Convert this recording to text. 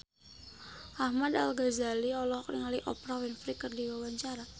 Ahmad Al-Ghazali olohok ningali Oprah Winfrey keur diwawancara